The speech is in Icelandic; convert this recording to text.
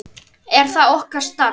En það er okkar starf.